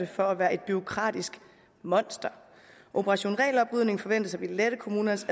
for at være et bureaukratisk monster operation regeloprydning forventes at ville lette kommunernes